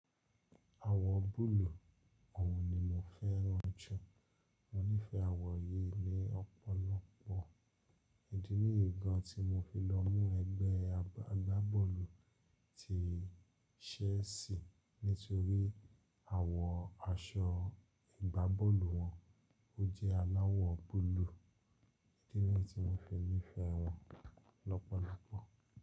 Àwọ̀ búlúù, òun ni mo fẹ́ràn jù. Mo nífẹ̀ẹ́ àwọ̀ yìí ni ọ̀pọ̀lọpọ̀. Idi ni yì gan tí mo fi lọ mú ẹgbẹ́ agbábọ́ọ̀lù ti chelsea nítorí àwọ̀ aṣọ ìgbábọ́ọ̀lù wọn ó jẹ́ aláwọ̀ búlúù. Idi ni yi tí mo fi nífẹ̀ẹ́ wọn lọ́pọ̀lọpọ̀.